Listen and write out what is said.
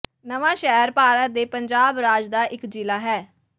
ਨਵਾਂਸ਼ਹਿਰ ਭਾਰਤ ਦੇ ਪੰਜਾਬ ਰਾਜ ਦਾ ਇੱਕ ਜ਼ਿਲਾ ਹੈ